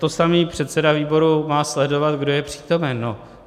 To samé - předseda výboru má sledovat, kdo je přítomen.